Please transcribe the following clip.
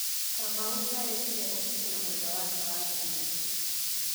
Kamau nĩarekire ũhiki na mwendwa wake Wanjiru